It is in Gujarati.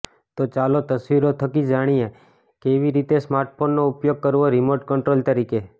તો ચાલો તસવીરો થકી જાણીએ કેવી રીતે સ્માર્ટફોનનો ઉપયોગ કરવો રિમોટ કંટ્રોલ તરીકે